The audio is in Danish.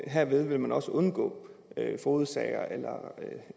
herved vil man også undgå fogedsager eller